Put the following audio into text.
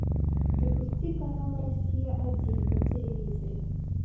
запусти канал россия один на телевизоре